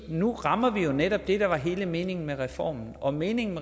nu rammer vi jo netop det der var hele meningen med reformen og meningen